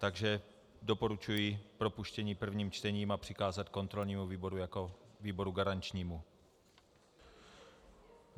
Takže doporučuji propuštění prvním čtením a přikázat kontrolnímu výboru jako výboru garančnímu.